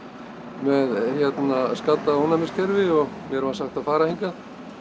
með hérna skaddað ónæmiskerfi og var sagt að fara hingað